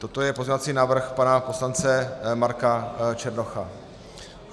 Toto je pozměňovací návrh pana poslance Marka Černocha.